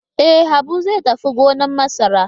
E, Habu zai tafi gonar masara.